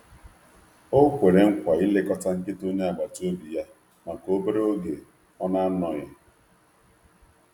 Ọ kwere nkwa ilekọta nkịta onye agbata obi ya maka obere oge ọ na-anọghị.